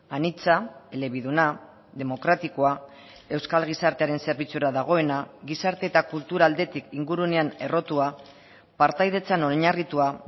anitza elebiduna demokratikoa euskal gizartearen zerbitzura dagoena gizarte eta kultura aldetik ingurunean errotua partaidetzan oinarritua